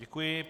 Děkuji.